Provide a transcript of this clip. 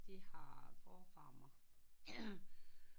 De har for frammer